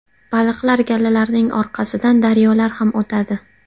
Baliqlar galalarining orqasidan daryolarga ham o‘tadi.